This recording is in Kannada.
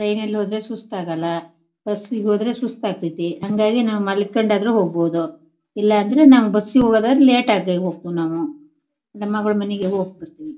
ಟ್ರೈನ್ನ ಲ್ಲಿ ಹೋದ್ರೆ ಸುಸ್ತಾಗಲ್ಲ ಬಸ್ಸಿ ಗೆ ಹೋದ್ರೆ ಸುಸ್ತಾಗತೈತಿ. ಹಾಂಗಾಗಿ ನಾವು ಮಲಿಕಂಡ್ ಆದ್ರೂ ಹೋಗಬೋದು ಇಲ್ಲಾಂದ್ರೆ ನಾವು ಬಸ್ಸಿ ಗೆ ಹೋಗದಾದ್ರೆ ಲೇಟ್ ಆಗಿ ಹೊಕ್ಕಿವ್ ನಾವು ನಮ್ ಮಗಳ್ ಮನಿಗೆ ಹೋಗ್ಬಿಡ್ತೀವಿ.